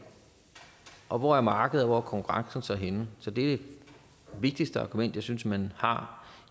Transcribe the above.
og hvor er markedet og hvor er konkurrencen så henne så det er det vigtigste argument jeg synes man har